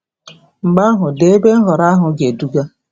Mgbe ahụ, dee ebe nhọrọ ahụ ga-eduga.